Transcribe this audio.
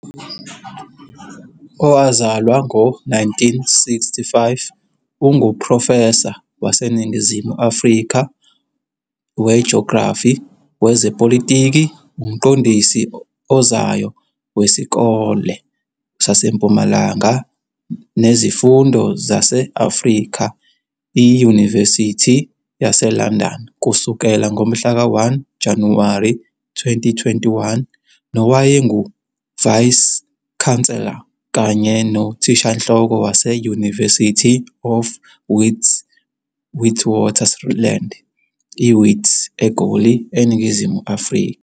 Owazalwa ngo-1965, unguprofesa waseNingizimu Afrika wejografi yezepolitiki, umqondisi ozayo weSikole SaseMpumalanga Nezifundo Zase-Afrika, iYunivesithi yaseLondon kusukela ngomhlaka 1 Januwari 2021, nowayenguVice-Chancellor kanye noThishanhloko wase-University of the Witwatersrand, IWits, eGoli, eNingizimu Afrika.